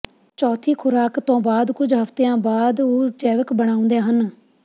ਚੌਥੀ ਖੁਰਾਕ ਤੋਂ ਬਾਅਦ ਕੁੱਝ ਹਫ਼ਤਿਆਂ ਬਾਅਦ ਉਹ ਜੈਵਿਕ ਬਣਾਉਂਦੇ ਹਨ